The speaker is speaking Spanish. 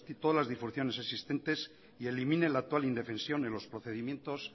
todas las disfunciones existentes y elimine la actual indefensión en los procedimientos